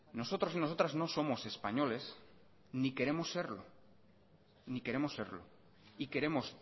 nosotros y nosotras no somos españoles ni queremos serlo ni queremos serlo y queremos